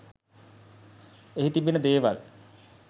එහි තිබෙන දේවල්